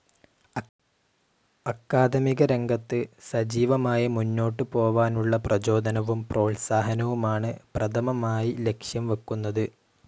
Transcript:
അക്കാദമിക രംഗത്ത് സജീവമായി മുന്നോട്ട് പോവാനുള്ള പ്രചോദനവും പ്രോൽസാഹനവുമാണ് പ്രഥമമായി ലക്ഷ്യം വെക്കുന്നത്.